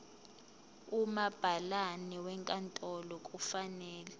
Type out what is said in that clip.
umabhalane wenkantolo kufanele